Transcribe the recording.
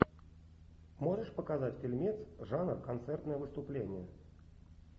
можешь показать фильмец жанр концертное выступление